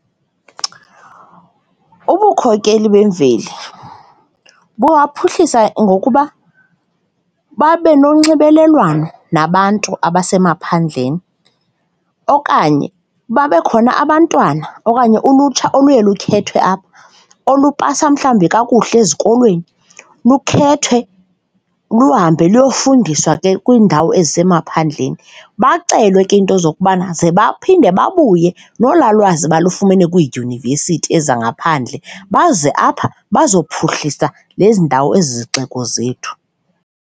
Ubukhokeli bemveli bangaphuhlisa ngokuba babe nonxibelelwano nabantu abasemaphandleni okanye babe khona abantwana okanye ulutsha oluye lukhethwe apha olupasa mhlawumbi kakuhle ezikolweni, lukhethwe, luhambe luyofundiswa ke kwiindawo ezisemaphandleni. Bacelwa ke iinto zokubana ze baphinde babuye nolaa lwazi balufumene kwiidyunivesithi ezangaphandle baze apha bazokuphuhlisa nezi ndawo ezi zixiko zethu